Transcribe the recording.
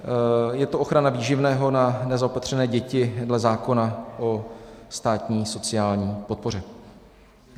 Je to ochrana výživného na nezaopatřené děti dle zákona o státní sociální podpoře.